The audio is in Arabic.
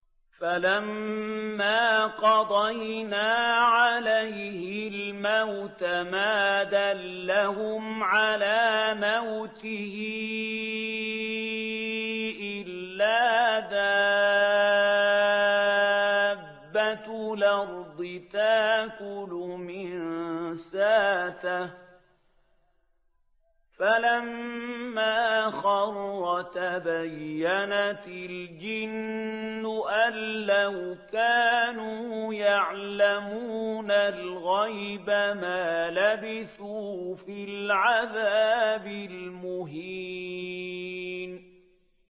فَلَمَّا قَضَيْنَا عَلَيْهِ الْمَوْتَ مَا دَلَّهُمْ عَلَىٰ مَوْتِهِ إِلَّا دَابَّةُ الْأَرْضِ تَأْكُلُ مِنسَأَتَهُ ۖ فَلَمَّا خَرَّ تَبَيَّنَتِ الْجِنُّ أَن لَّوْ كَانُوا يَعْلَمُونَ الْغَيْبَ مَا لَبِثُوا فِي الْعَذَابِ الْمُهِينِ